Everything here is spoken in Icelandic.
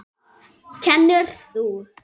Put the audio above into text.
Kennir þú?